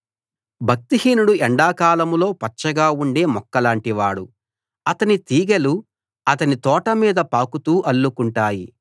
భక్తిహీనుడు ఎండాకాలంలో పచ్చగా ఉండే మొక్కలాంటివాడు అతని తీగెలు అతని తోట మీద పాకుతూ అల్లుకుంటాయి